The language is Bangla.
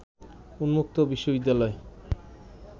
উন্মুক্ত বিশ্ববিদ্যালয়